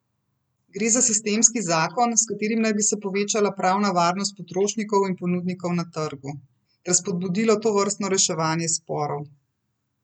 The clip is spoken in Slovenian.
Gre za sistemski zakon, s katerim naj bi se povečala pravna varnost potrošnikov in ponudnikov na trgu ter spodbudilo tovrstno reševanje sporov.